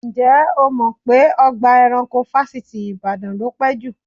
Ǹjẹ́ o mọ̀ pé ọgbà ẹranko Fáṣítì Ìbàdàn ló pé jù?